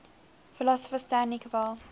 philosopher stanley cavell